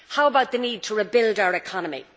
How about the need to rebuild our economy?